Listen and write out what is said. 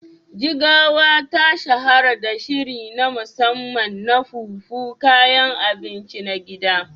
Jigawa ta shahara da shiri na musamman na Fufu, kayan abinci na gida.